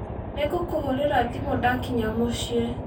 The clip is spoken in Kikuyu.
Nĩngũkũhũrĩra thimũ ndakinya mũciĩ.